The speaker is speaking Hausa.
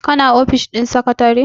kana ofis ɗin sakatare?